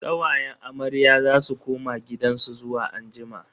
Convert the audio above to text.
Kawayen amarya za su koma gidansu zuwa anjima.